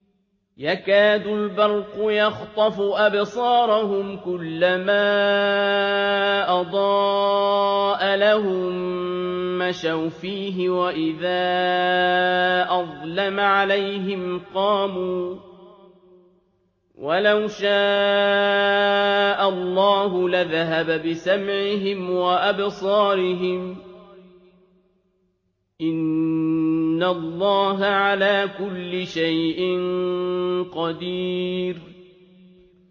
يَكَادُ الْبَرْقُ يَخْطَفُ أَبْصَارَهُمْ ۖ كُلَّمَا أَضَاءَ لَهُم مَّشَوْا فِيهِ وَإِذَا أَظْلَمَ عَلَيْهِمْ قَامُوا ۚ وَلَوْ شَاءَ اللَّهُ لَذَهَبَ بِسَمْعِهِمْ وَأَبْصَارِهِمْ ۚ إِنَّ اللَّهَ عَلَىٰ كُلِّ شَيْءٍ قَدِيرٌ